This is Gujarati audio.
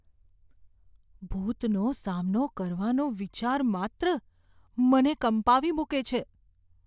ભૂતનો સામનો કરવાનો વિચાર માત્ર, મને કંપાવી મૂકે છે.